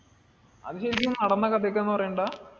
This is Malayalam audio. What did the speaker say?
അത് ശെരിക്കും നടന്ന കഥയൊക്കെയാണെന്ന് പറയുന്നുണ്ടെടാ.